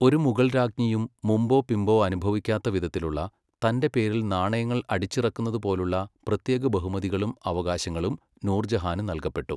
ഒരു മുഗൾരാജ്ഞിയും മുമ്പോ പിമ്പോ അനുഭവിക്കാത്തവിധത്തിലുള്ള, തൻ്റെ പേരിൽ നാണയങ്ങൾ അടിച്ചിറക്കുന്നതുപോലുള്ള പ്രത്യേക ബഹുമതികളും അവകാശങ്ങളും നൂർജഹാന് നൽകപ്പെട്ടു.